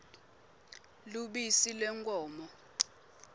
lubisi lwenkhomo